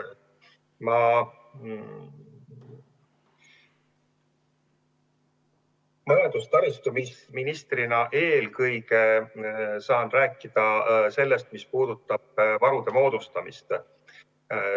Majandus- ja taristuministrina saan eelkõige rääkida sellest, mis puudutab varude moodustamist.